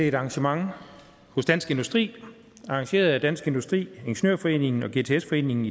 et arrangement hos dansk industri arrangeret af dansk industri ingeniørforeningen og gts foreningen